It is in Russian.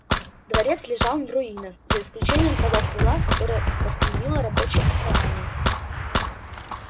дворец лежал в руинах за исключением того крыла которое восстановило рабочие основания